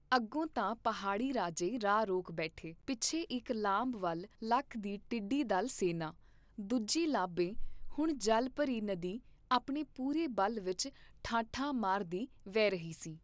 ਅੱਗੋਂ ਤਾਂ ਪਹਾੜੀ ਰਾਜੇ ਰਾਹ ਰੋਕ ਬੈਠੇ ਪਿੱਛੇ ਇਕ ਲਾਂਭ ਵੱਲ ਲੱਖ ਦੀ ਟਿੱਡੀ ਦਲ ਸੈਨਾਂ, ਦੂਜੀ ਲਾਂਭੇ ਹੁਣ ਜਲ ਭਰੀ ਨਦੀ ਆਪਣੇ ਪੂਰੇ ਬਲ ਵਿਚ ਠਾਠਾਂ ਮਾਰਦੀ ਵਹਿ ਰਹੀ ਸੀ।